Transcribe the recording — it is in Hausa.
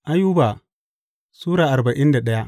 Ayuba Sura arba'in da daya